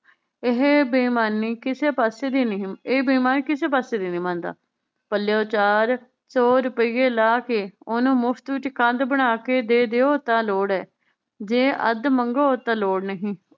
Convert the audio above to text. ਇਹ ਬੇਈਮਾਨੀ ਕਿਸੇ ਪਾਸੇ ਦੀ ਨਹੀਂ ਇਹ ਬੇਈਮਾਨੀ ਕਿਸੇ ਪਾਸੇ ਦੀ ਨੀ ਮੰਨਦਾ ਪਲਯੋੰ ਚਾਰ ਸੌ ਰੁਪਈਏ ਲਾ ਕੇ ਓਹਨੂੰ ਮੁਫ਼ਤ ਵਿਚ ਕੰਧ ਬਣਾ ਕੇ ਦੇ ਦਿਓ ਤਾਂ ਲੋੜ ਏ ਜੇ ਅੱਧ ਮੰਗੋ ਤਾਂ ਲੋੜ ਨਹੀਂ